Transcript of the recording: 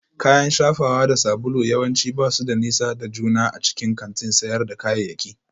Kayan shafawa da sabulu yawanci ba su da nisa da juna a cikin kantin sayar da kayayyaki